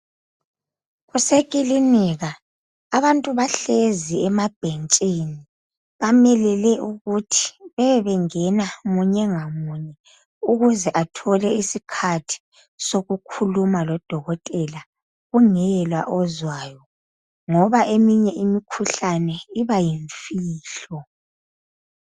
Kusekilinika abantu bahlezi emabhentshini. Bamelele ukuthi bebebengena munye ngomunye ukuze athole isikhathi sokukhuluma lodokotela kungela ozwayo ngoba eminye imikhuhlane ibayimfihlo.